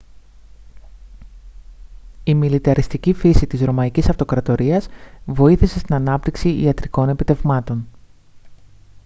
η μιλιταριστική φύση της ρωμαϊκής αυτοκρατορίας βοήθησε στην ανάπτυξη ιατρικών επιτευγμάτων